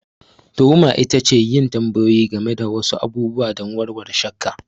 Tuhuma ita ce yin tambayoyi game da wasu abubuwa don warware shakka.